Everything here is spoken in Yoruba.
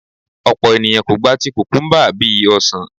Ọ̀pọ̀ ènìyàn kò gba ti kùkùńbà bí i ọsàn.